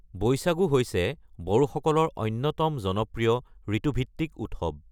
বৈশাগু হৈছে বড়োসকলৰ অন্যতম জনপ্ৰিয় ঋতুভিত্তিক উৎসৱ ।